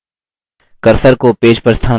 cursor को page पर स्थानांतरित करें